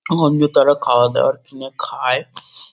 ওখান দিয়ে তারা খাওয়া-দাওয়ার কিনে খায় ।